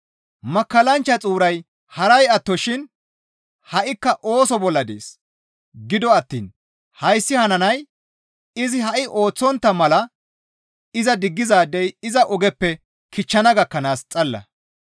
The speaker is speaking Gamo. Makkallanchcha xuuray haray attoshin ha7ikka ooso bolla dees; gido attiin hayssi hananay izi ha7i ooththontta mala iza diggizaadey iza ogeppe kichchana gakkanaas xalla.